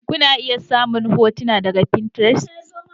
Kuna iya samun hotuna daga Pinterest.